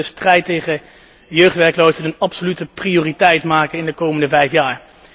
Wij moeten de strijd tegen jeugdwerkloosheid absolute prioriteit geven in de komende vijf jaar.